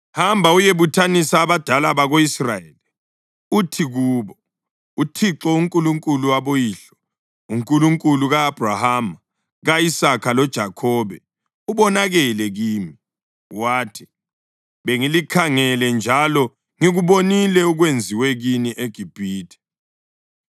Hamba uyebuthanisa abadala bako-Israyeli uthi kubo, ‘ uThixo, uNkulunkulu waboyihlo, uNkulunkulu ka-Abhrahama, ka-Isaka loJakhobe, ubonakele kimi wathi: Bengilikhangele njalo ngikubonile okwenziwe kini eGibhithe.